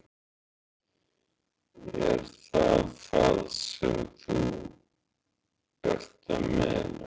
Er það það sem þú ert að meina?